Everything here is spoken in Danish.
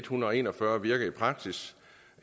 hundrede og en og fyrre virke i praksis